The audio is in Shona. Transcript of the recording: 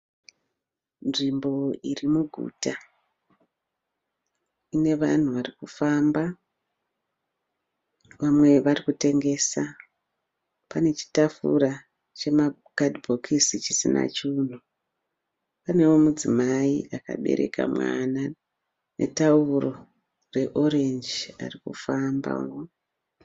Nzvimbo iri muguta ine vanhu varikufamba vamwe vari kutengesa, pane chitafura chema kadhibhokisi chisina chinhu, panewo mudzimai akabereka mwana netauro reorenji arikufamba.